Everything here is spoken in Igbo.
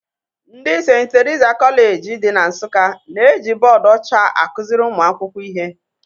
Ndị St. Teresa Kọleji dị na Nsụka na-eji bọọdụ ọcha akụziri ụmụ akwụkwọ ihe